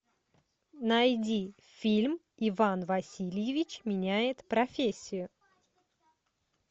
найди фильм иван васильевич меняет профессию